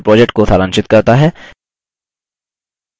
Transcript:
यह spoken tutorial project को सारांशित करता है